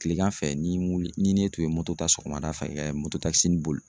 Kilegan fɛ ni wuli ni ne tun ye ta sɔgɔmada fɛ takisinin boli.